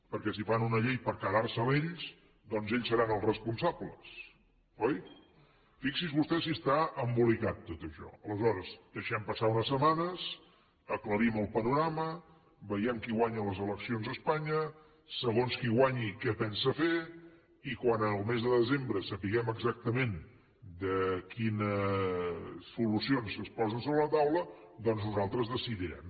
perquè si fan una llei per quedar se la ells doncs ells seran els responsables oi fixi’s vostè si està embolicat tot això aleshores deixem passar unes setmanes aclarim el panorama vegem qui guanya les eleccions a espanya segons qui guanyi què pensa fer i quan en el mes de desembre sapiguem exactament quines solucions es posen sobre la taula doncs nosaltres decidirem